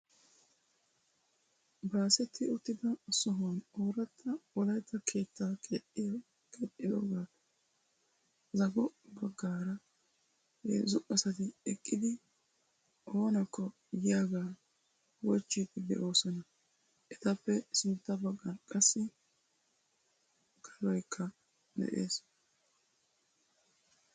Baasetti uttida sohuwan oorata wolaytta keettaa keexxidoogappe zago baggaaraabheezzu asaiti eqqidi oonakko yiyyaaga wochchide de'oosona. Etappe sintta baggan qassi kaloykka de'ees.